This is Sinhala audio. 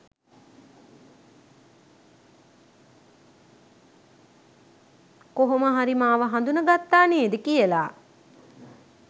කොහොම හරි මාව හඳුන ගත්තා නේද කියලා.